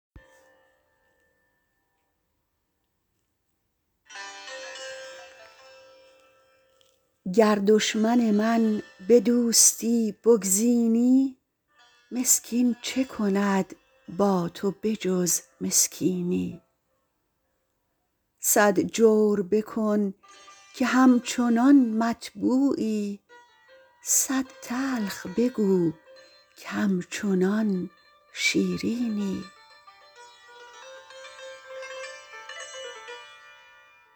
گر دشمن من به دوستی بگزینی مسکین چه کند با تو به جز مسکینی صد جور بکن که همچنان مطبوعی صد تلخ بگو که همچنان شیرینی